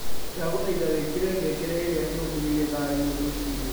ndagũthaĩtha wĩkĩre ngengere ĩrĩa ĩrũmĩrĩĩre thaa ĩmwe rũcĩĩnĩ